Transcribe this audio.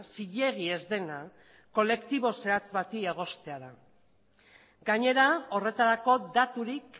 zilegi ez dena kolektibo zehatz bati egostea da gainera horretarako daturik